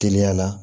Teliya la